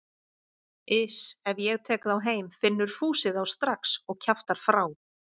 Iss, ef ég tek þá heim finnur Fúsi þá strax og kjaftar frá.